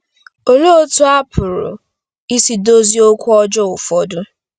Olee otú a pụrụ isi dozie okwu ọjọọ ụfọdụ?